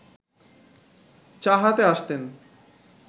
চা হাতে আসতেন